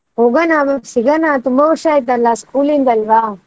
ಹೋಗಣ ನಾವು ಸಿಗಣ ನಾವು ತುಂಬಾ ವರ್ಷ ಆಯ್ತಲ್ಲ school ಇಂದಲ್ವಾ.